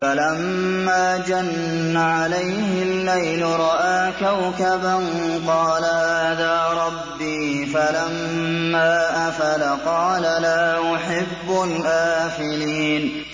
فَلَمَّا جَنَّ عَلَيْهِ اللَّيْلُ رَأَىٰ كَوْكَبًا ۖ قَالَ هَٰذَا رَبِّي ۖ فَلَمَّا أَفَلَ قَالَ لَا أُحِبُّ الْآفِلِينَ